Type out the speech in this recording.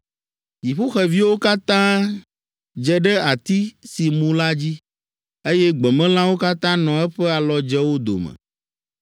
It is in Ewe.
Dziƒoxeviwo katã dze ɖe ati si mu la dzi, eye gbemelãwo katã nɔ eƒe alɔdzewo dome.